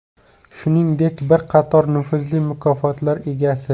Shuningdek, bir qator nufuzli mukofotlar egasi.